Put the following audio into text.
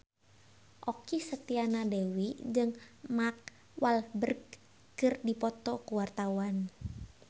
Okky Setiana Dewi jeung Mark Walberg keur dipoto ku wartawan